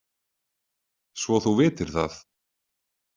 Svo þú vitir það.